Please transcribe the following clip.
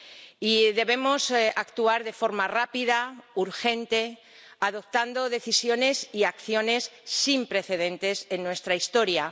Y debemos actuar de forma rápida, urgente, adoptando decisiones y acciones sin precedentes en nuestra historia.